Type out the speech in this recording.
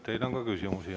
Teile on ka küsimusi.